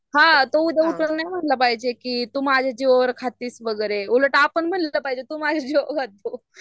हां तो उद्या नाही म्हणलं पाहिजे की तू माझं जिवावर खातीस वगैरे उलट आपण म्हणलं पाहिज तू माझ्या जीवावर खातो